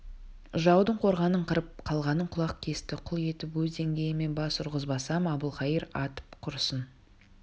жаудың қорғанын қырып қалғанын құлақ кесті құл етіп өз деңгейіме бас ұрғызбасам әбілқайыр атым құрысын